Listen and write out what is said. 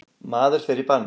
Maðurinn fer í bann.